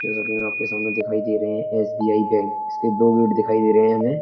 जैसा कि मैं आपके सामने दिखाई दे रहे हैं एस.बी.आई. बैंक । इसके दो गेट दिखाई दे रहे हैं हमे।